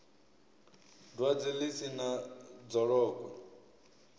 dwadze ḽi si na dzolokwe